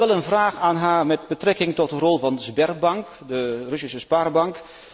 Ik heb wel een vraag aan haar met betrekking tot de rol van Sberbank, de Russische spaarbank.